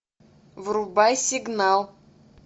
врубай сигнал